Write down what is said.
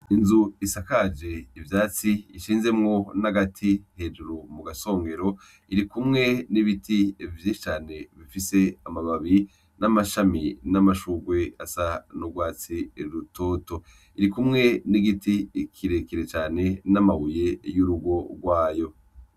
Inzu Isakaje Ivyatsi Bishinzemwo N'Agati Hejuru Mugasongero, Irikumwe N'Ibiti Vyinshi Cane Bifise Amababi N'Amashami N'Amashurwe Asa N'Urwatsi Rutoto. Irikumwe N'Igiti Kirekire Cane N'Amabuye Y'Urugo Rwayo.